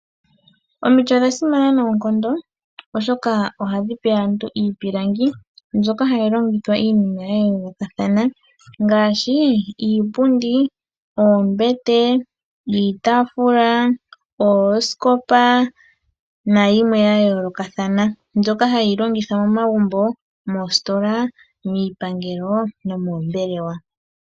Omiti odha simana noonkondo oshoka ohadhi aantu iipilangi mbyoka hayi longithwa ya yoolokathana ngaashi, iipundi, oombete, iitaafula, oosikopa nayimwe ya yoolokathana. Mbyoka hayi longithwa momagumbo, moositola, miipangelo nomoombelewa.